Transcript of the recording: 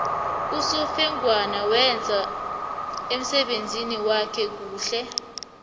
usofengwana wenze umsebenzi wakhe kuhle